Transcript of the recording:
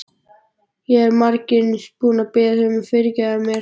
Ég er margsinnis búin að biðja þig að fyrirgefa mér.